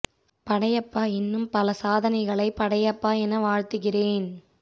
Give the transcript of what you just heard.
படையப்பா இன்னும் பல சாதனைகளை படையப்பா என வாழ்த்துகிறேன்